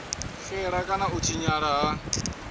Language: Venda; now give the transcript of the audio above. xela kana u tshinyala ha